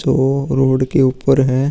तो रोड के ऊपर है।